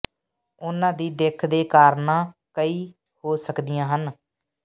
ਉਨ੍ਹਾਂ ਦੀ ਦਿੱਖ ਦੇ ਕਾਰਨਾਂ ਕਈ ਹੋ ਸਕਦੀਆਂ ਹਨ